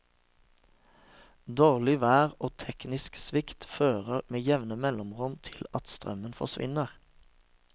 Dårlig vær og teknisk svikt fører med jevne mellomrom til at strømmen forsvinner.